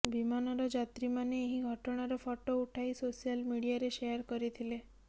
ବିମାନର ଯାତ୍ରୀମାନେ ଏହି ଘଟଣାର ଫଟୋ ଉଠାଇ ସୋସିଆଲ ମିଡିଆରେ ଶେୟାର କରିଥିଲେ